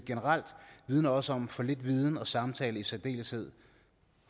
generelt vidner også om for lidt viden og samtale og i særdeleshed